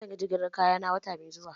Zan yi jigilar kaya na wata mai zuwa